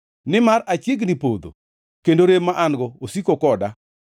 Nimar achiegni podho, kendo rem ma an-go osiko koda.